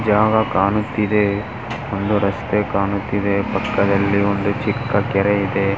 ಜಾಗ ಕಾಣುತಿದೆ ಒಂದು ರಸ್ತೆ ಕಾಣುತಿದೆ ಪಕ್ಕದಲ್ಲಿ ಒಂದು ಚಿಕ್ಕ ಕೆರೆ ಇದೆ.